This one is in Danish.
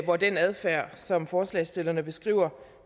hvor den adfærd som forslagsstillerne beskriver